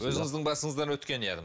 өзіңіздің басыңыздан өткен яғни